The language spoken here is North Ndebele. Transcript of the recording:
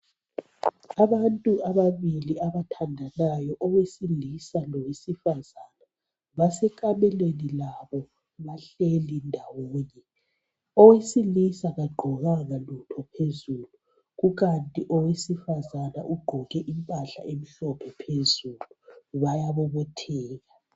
Abantu ababili abathandanayo owesilisa lowesifazana basekameleni labo bahleli ndawonye. Owesilisa kagqokanga lutho phezulu kukanti owesifazana ugqoke impahla emhlophe phezulu bayabobotheka.